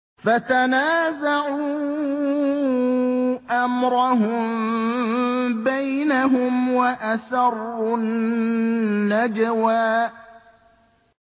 فَتَنَازَعُوا أَمْرَهُم بَيْنَهُمْ وَأَسَرُّوا النَّجْوَىٰ